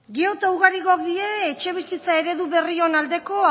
gero eta ugarigok dire etxebizitza eredu berrion aldeko